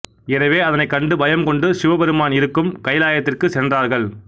எனவே அதனைக் கண்டு பயம் கொண்டு சிவபெருமான் இருக்கும் கைலாயத்திற்குச் சென்றாரகள்